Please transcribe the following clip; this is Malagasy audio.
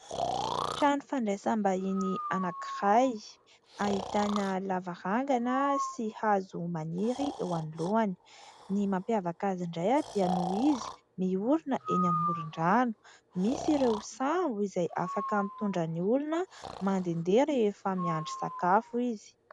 Trano fandraisam- bahiny anankiray ahitana lavarangana sy hazo maniry eo anoloany. Ny mampiavaka azy indray dia no izy miorina eny amoron-drano, misy ireo sambo izay afaka mitondra ny olona mandehandeha rehefa miandry sakafo izy.